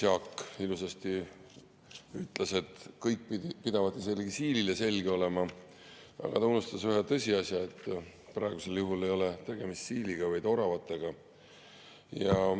Jaak ilusasti ütles, et kõik pidavat isegi siilile selge olema, aga ta unustas ühe tõsiasja, et praegusel juhul ei ole tegemist siiliga, vaid oravatega.